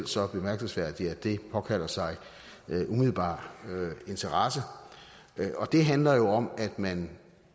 så bemærkelsesværdigt at det påkalder sig umiddelbar interesse det handler jo om at man